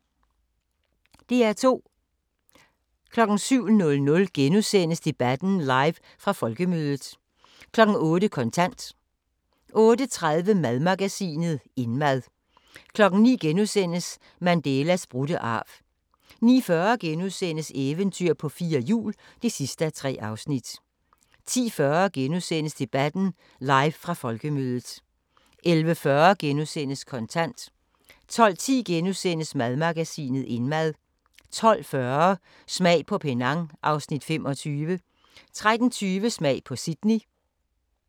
DR2